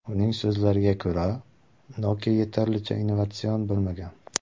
Uning so‘zlariga ko‘ra, Nokia yetarlicha innovatsion bo‘lmagan.